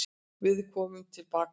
Við komum tilbaka.